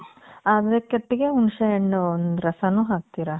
ಅದೇ ಕಟ್ಟಿಗೆ ಹುಣಸೆ ಹಣ್ಣು ದ್ ರಸಾನು ಹಾಕ್ತೀರ?